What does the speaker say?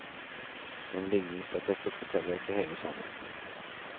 Men likningsattester forteller ikke hele sannheten.